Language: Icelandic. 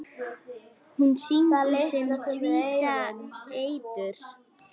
Hún sýgur sinn hvíta eitur